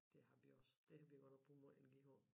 Det har vi også det har vi godt nok brugt meget energi på